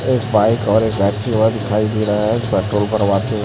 एक बाइक और एक व्यक्ति वहां दिखाई दे रहा है पेट्रोल भरवाते।